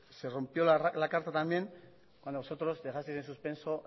se rompió la carta también cuando vosotros dejasteis en suspenso